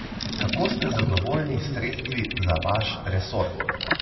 Kako ste zadovoljni s sredstvi za vaš resor?